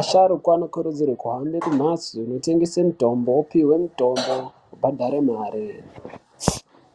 asharukwa anokudzirwe kuhambe kumhatso inotengese mitombo opihwe mitombo obhadhare mare.